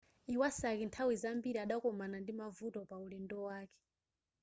iwasaki nthawi zambiri adakomana ndi mavuto paulendo wake